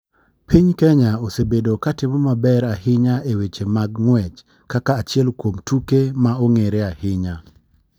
Piny kenya osebedo ka timo maber ahinya e weche mag ng'uech kaka achiel kuom tuke ma ong'ere ahinya.